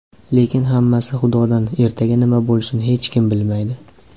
Lekin hammasi Xudodan ertaga nima bo‘lishini hech kim bilmaydi.